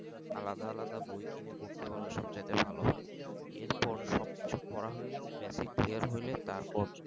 আলাদা আলাদা বই কিনে পড়তে হবে সব জায়গায় ভালো হয় এর পর সবকিছু করা হয়ে গেলে basic clear হলে তারপর